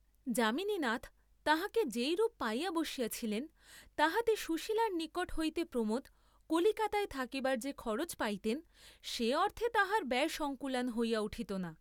যামিনীনাথ তাঁহাকে যেরূপ পাইয়া বসিয়াছিলেন তাহাতে সুশীলার নিকট হইতে প্রমোদ কলিকাতায় থাকিবার যে খরচ পাইতেন সে অর্থে তাঁহার ব্যয় সঙ্কুলান হইয়া উঠিত না।